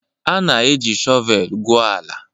A na-eji shọvel gwuo ala.